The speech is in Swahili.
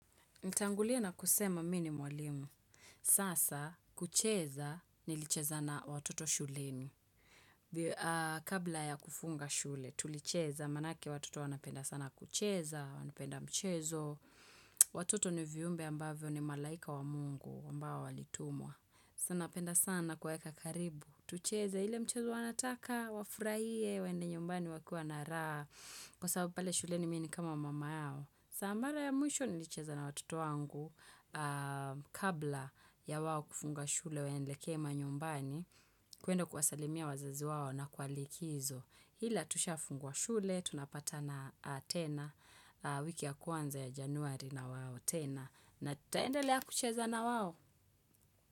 Natangulia na kusema mimi ni mwalimu. Sasa, kucheza nilicheza na watoto shuleni. Kabla ya kufunga shule, tulicheza. Manake watoto wanapenda sana kucheza, wanapenda mchezo. Watoto ni viumbe ambavyo ni malaika wa mungu ambao walitumwa. Sa napenda sana kuwaeka karibu. Tucheze ile mchezo wanataka, wafurahie, waende nyumbani wakiwa na raha. Kwa sababu pale shuleni mimi ni kama mama yao. Sa mara ya mwisho nilicheza na watoto wangu kabla ya wao kufunga shule waelekee manyumbani, kuenda kuwasalimia wazazi wao na kwa likizo. Ila tushafungua shule, tunapatana tena wiki ya kwanza ya Januari na wao tena. Na tutaendele ya kucheza na wao.